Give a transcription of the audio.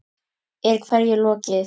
Er hverju lokið?